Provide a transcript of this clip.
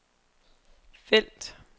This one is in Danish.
felt